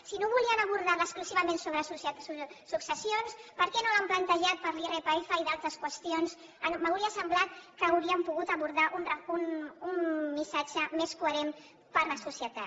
si no volien abordarla exclusivament sobre successions per què no l’han plantejat per a l’irpf i d’altres qüestions m’hauria semblat que haurien pogut abordar un missatge més coherent per a la societat